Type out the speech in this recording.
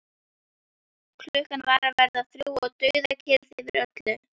Klukkan var að verða þrjú og dauðakyrrð yfir öllu.